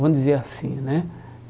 Vamos dizer assim, né?